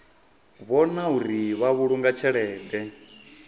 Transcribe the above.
vhona uri vha vhulunga tshelede